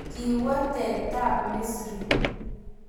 Kiwotetab Misri.